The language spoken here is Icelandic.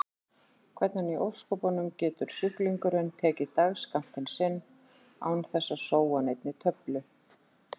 Hvernig í ósköpunum getur sjúklingurinn tekið dagsskammtinn sinn án þess að sóa neinni töflu?